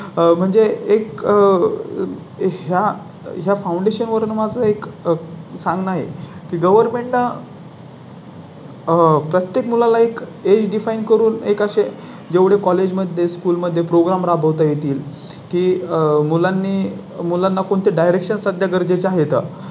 Government हो हो प्रत्येक मुला ला एक HD fine करून एक असे जेवढे कॉलेज मध्ये स्कूल मध्ये Program राबवता येतील की मुलांनी मुलांना कोणते Direction सध्या गरजेचे आहेत